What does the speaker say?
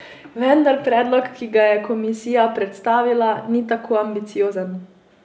Vendar predlog, ki ga je komisija predstavila, ni tako ambiciozen.